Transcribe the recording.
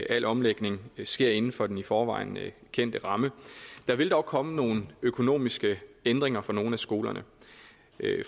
al omlægning sker inden for den i forvejen kendte ramme der vil dog komme nogle økonomiske ændringer for nogle af skolerne